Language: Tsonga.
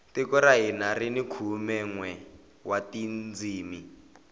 tiko ra hina rini khume nwe wa tindzimi